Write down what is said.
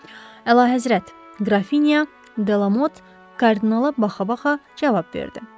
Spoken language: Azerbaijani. Əlahəzrət, Qrafinya, Delamot, kardinala baxa-baxa cavab verdi.